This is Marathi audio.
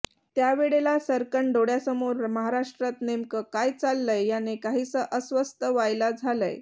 त्यावेळेला सर्रकन डोळ्यासमोर महाराष्ट्रात नेमकं काय चाललंय याने काहीसं अस्वस्थ व्हायला झालं